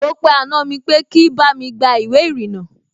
Mo pe àna mi pé kí bá mi gba ìwé ìrìnnà